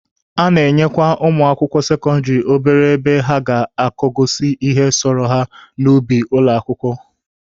A na-enyekwa ụmụ akwụkwọ sekọndịrị obere ebe ha ga-akọgasị ihe sọrọ ha n'ubi ụlọ akwụkwọ.